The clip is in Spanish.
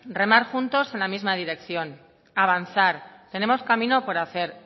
remar juntos en la misma dirección avanzar tenemos camino por hacer